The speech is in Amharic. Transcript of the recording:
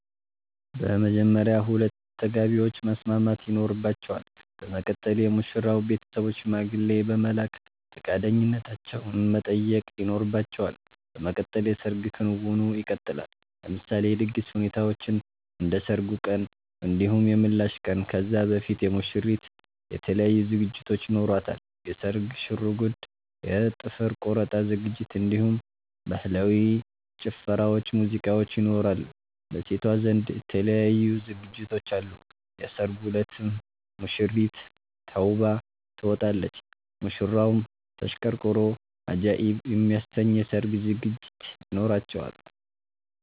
በመጀመርያ ሁለቱ ተጋቢዎች መስማማት ይኖርባቸል በመቀጠል የሙሽራዉ ቤተሰቦች ሽማግሌ በመላክ ፈቃደኛነታቸዉን መጠየቅ ይኖርባቸዋል በመቀጠል የሰርግ ክንዉኑ ይቀጥላል። ለምሳሌ የድግስ ሁኔታዎችን እንደ ሰርጉ ቀን እንዲሁም የምላሽ ቀን ከዛ በፊት የሙሽሪት የተለያዩ ዝግጅቶች ይኖሯታል የስርግ ሽርጉድ የ ጥፍር ቆረጣ ዝግጅት እንዲሁም በህላዊ ጭፈራዎች ሙዚቃዎች ይኖራሉ። በሴቷ ዘንድ የተለያዩ ዝግጅቶች አሉ የሰርጉ እለትም ሙሽሪት ተዉባ ትወጣለች። ሙሽራዉም ተሽቀርቅሮ አጃኢብ የሚያሰኝ የሰርግ ዝግጅት ይኖራቸዋል